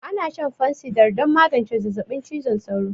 Ana shan fansidar don magance zazzabin cizon sauro